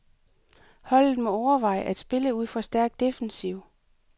Holdet må overveje at spille ud fra stærk defensiv.